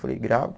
Falei, gravo.